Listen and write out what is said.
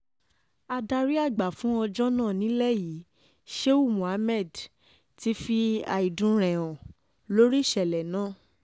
adarí àgbà fún ọjọ́ náà nílẹ̀ yìí shehu mohammed ti fi àìdùn rẹ̀ hàn lórí ìṣẹ̀lẹ̀ náà